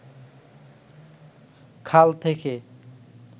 খাল থেকে